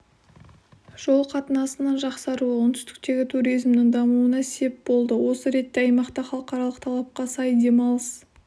жол қатынасының жақсаруы оңтүстіктегі туризмнің дамуына сеп болды осы ретте аймақта халықаралық талапқа сай демалыс